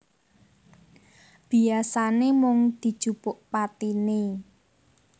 Biyasane mung dijupuk patine